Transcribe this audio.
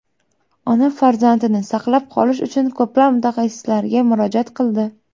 Ona farzandini saqlab qolish uchun ko‘plab mutaxassislarga murojaat qildi.